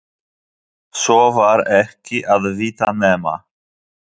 Svo var ekki að vita nema